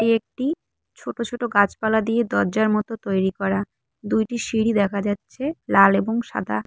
এটি একটি ছোট ছোট গাছপালা দিয়ে দজ্জার মতো তৈরি করা দুইটি সিঁড়ি দেখা যাচ্ছে লাল এবং সাদা।